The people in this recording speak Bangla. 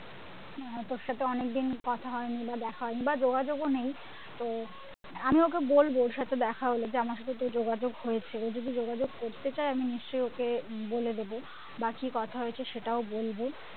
আহ তোর সাথে অনেকদিন কথা হয়নি বা দেখা হয়নি বা যোগাযোগও নেই তো আমি ওকে বলবো ওদের সাথে যে আমার সাথে তোর যোগাযোগ হয়েছে ও যদি যোগাযোগ করতে চায় আমি নিশ্চয়ই ওকে বলে দেবো বা কি কথা হয়েছে সেটাও বলবো